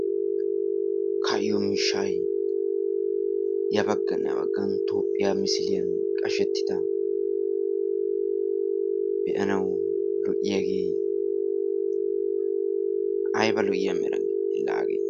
Ka'iyo miishshayo ya baggaane ha baggaan toophiya misiliyan qashettida beanawu lo'iyage, ayba lo'iya meerane la hagee!